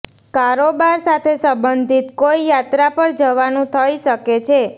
કારોબાર સાથે સબંધિત કોઈ યાત્રા પર જવાનું થઇ શકે છે